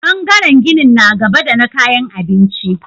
Ɓangaren ginin na gaba da na kayan abinci.